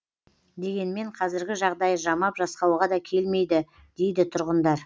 дегенмен қазіргі жағдайы жамап жасқауға да келмейді дейді тұрғындар